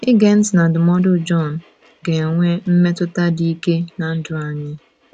Ige ntị na ndụmọdụ Jọn ga - enwe mmetụta dị ike ná ndụ anyị.